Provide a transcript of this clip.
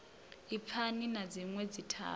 i fani na dzinwe dzithavha